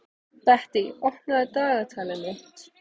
Bettý, opnaðu dagatalið mitt.